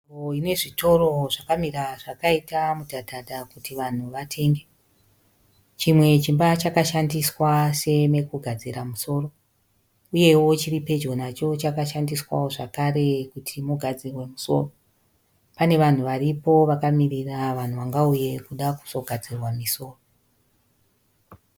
Nzvimbo inezvitoro zvakamira zvakaita mudhadhadha kuti vanhu vatenge. Chimwe chimba chakashandiswa semekugadzira musoro. Uyewo chiripedyo nacho chakashandiswawo zvekare kuti mugadzirwe misoro. Pane vanhu varipo vakamirira vanhu vangauye kuda kuzogadzirwa misoro.